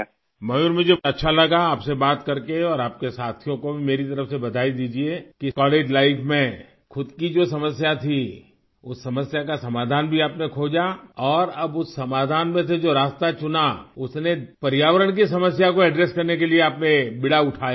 میور مجھے بہت اچھا لگا آپ سے بات کرکے اور آپ کے ساتھیوں کو بھی میری طرف سے مبارکباد دیجئے کہ کالج کی زندگی میں خود کا جو مسئلہ تھا اس مسئلے کا حل بھی آپ نے تلاش لیا اور اب اس حل میں سے جو راستہ اختیار کیا اس نے ماحولیات کے مسئلے کو حل کرنے کا بیڑا اٹھایا